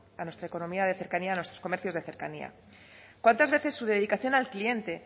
a nuestra economía de cercanía a nuestros comercios de cercanía cuántas veces su dedicación al cliente